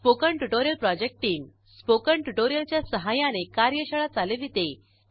spoken tutorial project team spoken tutorial च्या सहाय्याने कार्यशाळा चालविते